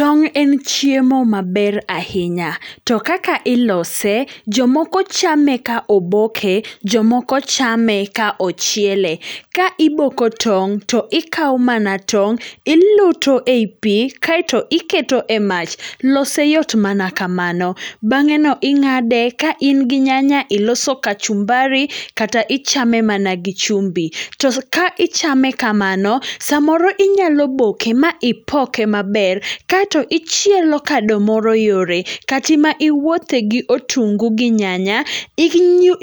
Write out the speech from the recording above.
Tong' en chiemo maber ahinya, to kaka ilose jomoko chame ka oboke, jomoko chame ka ochiele. Ka iboko tong' to ikao mana tong', iluto ei pii kaeto iketo e mach. Lose yot mana kamano, bang'eno ing'ade kain gi nyanya iloso kachumbari kata ichame mana gi chumbi. To ka ichame kamano, samoro inyalo boke maipoke maber, kaeto ichielo kado moro yore, kati ma iwuothe gi otungu gi nyanya